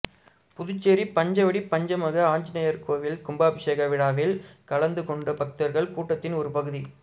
புதுச்சேரி பஞ்சவடி பஞ்சமுக ஆஞ்ஜநேயர் கோயில் கும்பாபிஷேக விழாவில் கலந்து கொண்ட பக்தர்கள் கூட்டத்தின் ஒரு பகுதி